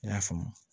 I y'a faamu